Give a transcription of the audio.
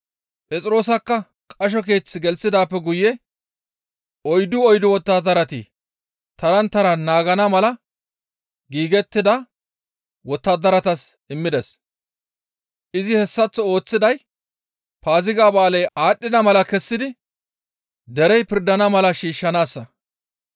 Phexroosakka qasho keeth gelththidaappe guye oyddu oyddu wottadarati taran taran naagana mala giigettida wottadaratas immides. Izi hessaththo ooththiday Paaziga ba7aaley aadhdhida mala kessidi derey pirdana mala shiishshanaassa.